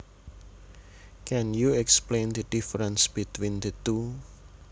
Can you explain the difference between the two